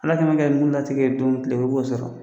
Ala kɛ mɛ mun na tigi ye don min tɛ i b'o sɔrɔ